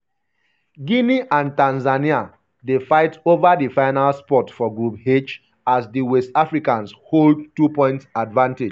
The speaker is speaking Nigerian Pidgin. guinea and tanzania dey fight ova di final spot for group h as um di west um africans hold um two-point advantage.